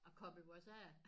Og koble os af